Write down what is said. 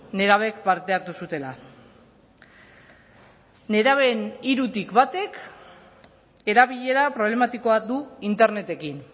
nerabek parte hartu zutela nerabeen hirutik batek erabilera problematikoa du internetekin